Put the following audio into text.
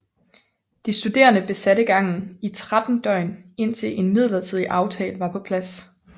De studerende besatte gangen i tretten døgn indtil en midlertidig aftale var på plads